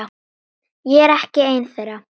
Ég er ekki ein þeirra.